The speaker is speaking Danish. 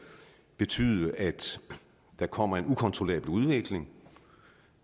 betyde at der kommer en ukontrollabel udvikling